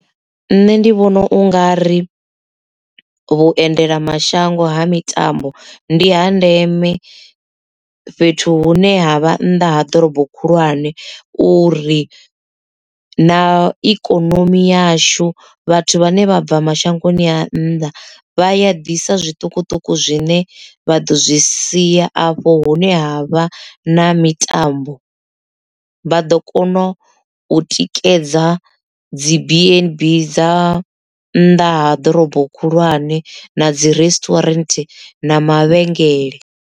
Nṋe ndi vhona u nga ri vhuendelamashango ha mitambo ndi ha ndeme fhethu hune ha vha nnḓa ha ḓorobo khulwane uri na ikonomi yashu vhathu vhane vha bva mashangoni a nnḓa vha ya ḓisa zwiṱukuṱuku zwine vha ḓo zwi siya afho hune ha vha na mitambo vha ḓo kona u tikedza dzi bnb dza nnḓa ha ḓorobo khulwane na dzi resturant na mavhengele.